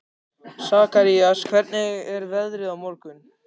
Sakarías, hvernig er veðrið á morgun?